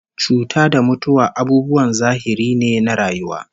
Cuta da mutuwa abubuwan zahiri ne na rayuwa